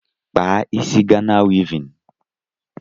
Kpaa isi Ghana wivin